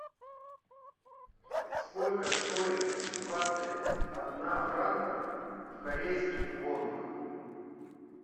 сколько стоит двадцать одна франков в корейских вонах